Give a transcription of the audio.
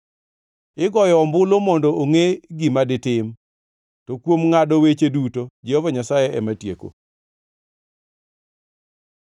Igoyo ombulu mondo ongʼe gima ditim, to kuom ngʼado weche duto Jehova Nyasaye ema tieko.